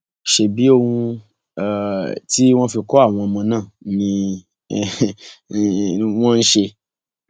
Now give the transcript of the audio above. ṣebí ohun um tí wọn fi kọ àwọn ọmọ náà ni um wọn ń ṣe